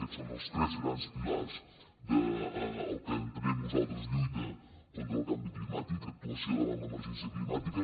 aquests són els tres grans pilars del que entenem nosaltres com a lluita contra el canvi climàtic actuació davant l’emergència climàtica